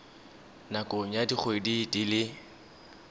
nakong ya dikgwedi di le